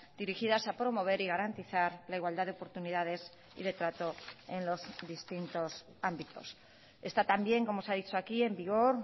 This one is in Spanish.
dirigidas a promover y garantizar la igualdad de oportunidades y de trato en los distintos ámbitos está también como se ha dicho aquí en vigor